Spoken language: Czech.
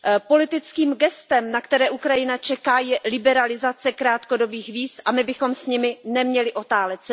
Politickým gestem, na které Ukrajina čeká, je liberalizace krátkodobých víz a my bychom s ním neměli otálet.